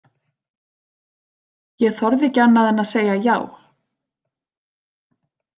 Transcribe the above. Ég þorði ekki annað en að segja já.